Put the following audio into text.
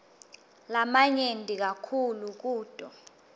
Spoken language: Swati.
lamanyenti kakhulu kuto